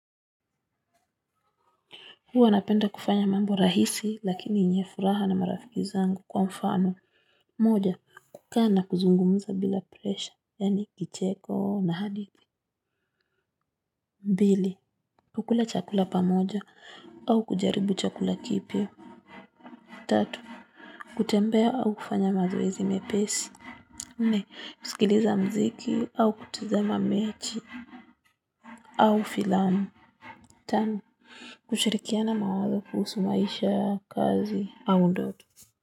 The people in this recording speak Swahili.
Huwa napenda kufanya mambo rahisi lakini enyefuraha na marafiki zangu kwa mfano. Moja, kuka na kuzungumuza bila presha, yani kicheko na haditi. Mbili, kukula chakula pamoja au kujaribu chakula kipya. Tatu, kutembea au kufanya mazoezi mepesi. Nne, kusikiliza mziki au kutazama mechi au filamu. Tano, kushirikiana mawazo kuhusu maisha kazi au ndoto.